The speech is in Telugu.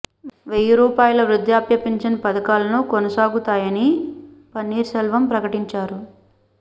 వెయ్యి రూపాయాల వృధ్యాప్య పింఛన్ పథకాలను కొనసాగుతాయని పన్నీర్ సెల్వం ప్రకటించారు